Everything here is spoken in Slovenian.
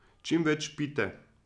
Čim več pijte!